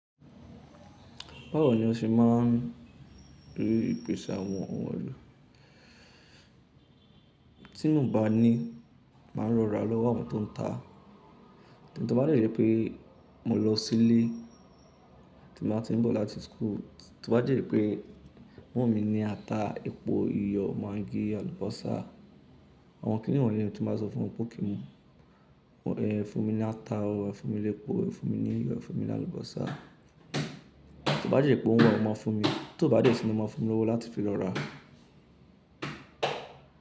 Báwo ni o ṣe máa ń rí ìpèsè àwọn ohun èlò? Tí mo bá ní, màá rọra lọ́wa àwọn tó ń ta. Tí mo bá jẹ́ pé mo lọ sílé tí mo bá ti ń bọ̀ láti school, tí mo bá dẹ́ rí pé mọ́n mi ní ata, epo, iyọ̀, maggi, àlùbọ́sà. Àwọn kíni wọ̀nyí tí mo bá sọ fún ọ pé kí n mu, fún mi ní ata, fún mi ní epo, fún mi ní iyọ̀, fún mi ní àlùbọ́sà. To bá de jẹ́ pé òun wa, o máa fún mi. Tò bá dẹ́ tí ni o máa fún un mi lówó láti fi lọ rà á.